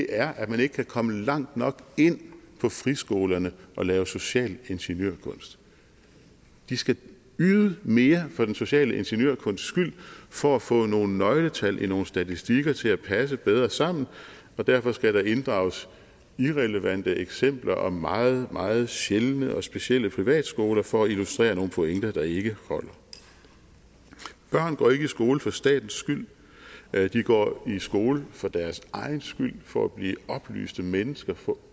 er at man ikke kan komme langt nok ind på friskolerne og lave social ingeniørkunst de skal yde mere for den sociale ingeniørkunsts skyld for at få nogle nøgletal i nogle statistikker til at passe bedre sammen og derfor skal der inddrages irrelevante eksempler og meget meget sjældne og specielle privatskoler for at illustrere nogle pointer der ikke holder børn går ikke i skole fra statens skyld de går i skole for deres egen skyld for at blive oplyste mennesker for